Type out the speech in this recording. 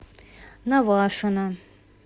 навашино